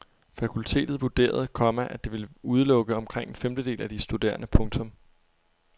Fakultetet vurderede, komma at det ville udelukke omkring en femtedel af de studerende. punktum